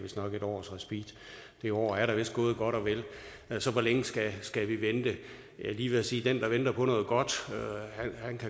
et års respit det år er da vist gået godt og vel altså hvor længe skal skal vi vente jeg er lige ved at sige at den der venter på noget godt